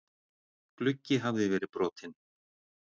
Gluggi hafði verið brotinn.